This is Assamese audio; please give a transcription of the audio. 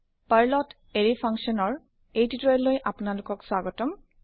পাৰ্ল ত এৰে ফাংছন ৰ নিৰ্দেশনা লৈ আপোনালোক ক স্বাগতম